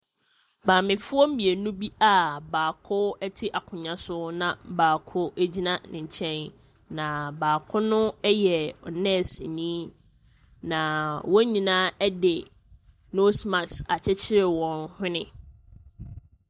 Maamefoɔ mmienu bi a baako te akunnwa so na baako gyina ne nkyɛn, na baako no yɛ nɛɛseni, na wɔn nyinaa de nose mask akyekyere wɔn hwene.